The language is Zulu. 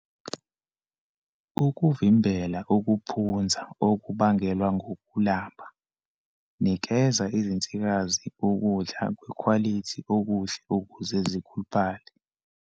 Ukuvimbela ukuphunza okubangelwa ngukulamba, nikeza izinsikazi ukudla kwekhwalithi okuhle ukuze zikhuluphale.